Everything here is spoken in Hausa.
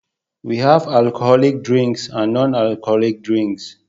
we have alcoholic drinks and non alcoholic drinks